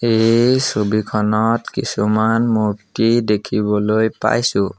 এই ছবিখনত কিছুমান মূৰ্ত্তি দেখিবলৈ পাইছোঁ।